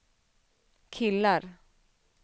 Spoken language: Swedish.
killar